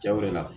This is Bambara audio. Jago de la